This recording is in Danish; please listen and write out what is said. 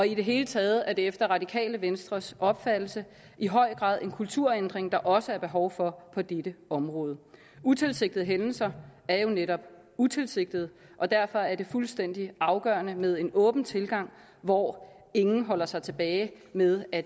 i det hele taget er det efter det radikale venstres opfattelse i høj grad en kulturændring der også er behov for på dette område utilsigtede hændelser er jo netop utilsigtede og derfor er det fuldstændig afgørende med en åben tilgang hvor ingen holder sig tilbage med at